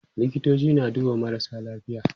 likitoci na duba marasa lafiya